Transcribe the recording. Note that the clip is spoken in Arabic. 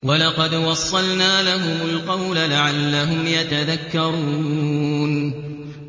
۞ وَلَقَدْ وَصَّلْنَا لَهُمُ الْقَوْلَ لَعَلَّهُمْ يَتَذَكَّرُونَ